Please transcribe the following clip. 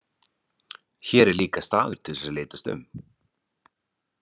Hér er líka staður til að litast um.